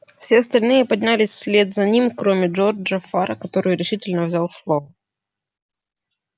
все остальные поднялись вслед за ним кроме джорджа фара который решительно взял слово